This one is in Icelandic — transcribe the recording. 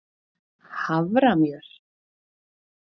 haframjöl